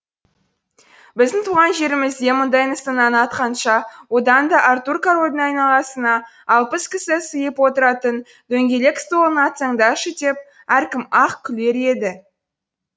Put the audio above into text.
біздің туған жерімізде мұндай нысананы атқанша одан да артур корольдің айналасына алпыс кісі сыйып отыратын дөңгелек столын атсаңдаршы деп әркім ақ күлер еді